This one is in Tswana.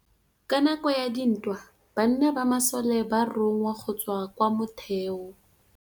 Ka nakô ya dintwa banna ba masole ba rongwa go tswa kwa mothêô.